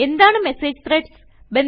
എന്താണ് message threads